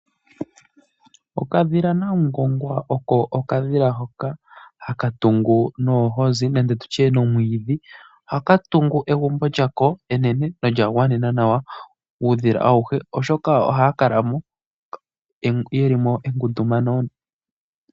Okadhila Namungongwa oko okadhila hoko haka tungu noohozi nenge tu tye nomwiidhi. Ohaka tungu egumbo lyako enene nawa nolya gwanena uudhila auhe, oshoka ohaya kala mo ye li mo engundumano.